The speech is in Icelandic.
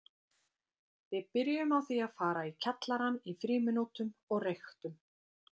Við byrjuðum á því að fara í kjallarann í frímínútum og reyktum.